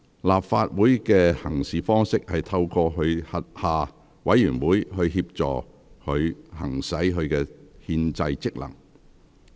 立法會的行事方式是透過其轄下委員會協助它行使其憲制職能。